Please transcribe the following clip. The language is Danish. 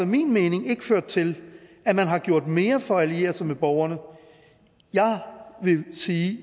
min mening ikke ført til at man har gjort mere for at alliere sig med borgerne jeg vil sige